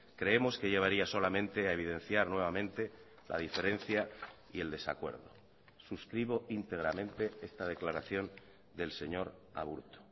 creemos que llevaría solamente a evidenciar nuevamente la diferencia y el desacuerdo suscribo íntegramente esta declaración del señor aburto